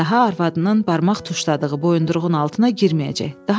Daha arvadının barmaq tuşladığı boyunduruğun altına girməyəcək.